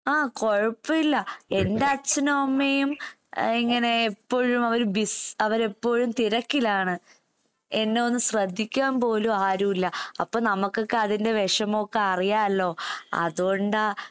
ആഹ് കൊഴപ്പയില്ല. എന്റച്ഛനും അമ്മയും അഹ് ഇങ്ങനെ എപ്പഴുമവര് ബിസ് അവരെപ്പോഴും തിരക്കിലാണ്. എന്നയൊന്ന് ശ്രദ്ധിക്കാമ്പോലുവാരുവില്ല. അപ്പ നമക്കൊക്കെ അതിന്റെ വെഷമോക്കെ അറിയാല്ലോ. അതോണ്ടാ